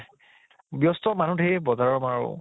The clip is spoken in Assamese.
ব্য়স্ত মানুহ ঢেৰ বজাৰ